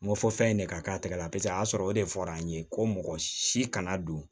N ko fɔ fɛn in de ka k'a tɛgɛ la paseke a y'a sɔrɔ o de fɔra an ye ko mɔgɔ si kana don